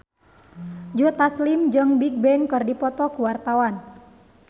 Joe Taslim jeung Bigbang keur dipoto ku wartawan